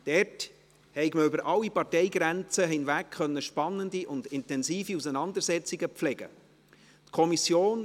Dort habe man über alle Parteigrenzen hinweg spannende und intensive Auseinandersetzungen pflegen können.